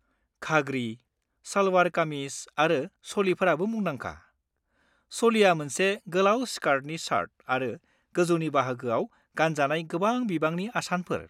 घाग्रि, सालवार-कामिज आरो चलिफोराबो मुंदांखा। चलिया मोनसे गोलाव स्कार्टनि शार्ट आरो गौजौनि बाहागोआव गानजानाय गोबां बिबांनि आसानफोर।